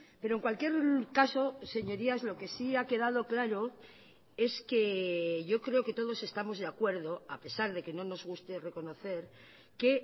pero en cualquier caso señorías lo que sí ha quedado claro es que yo creo que todos estamos de acuerdo a pesar de que no nos guste reconocer que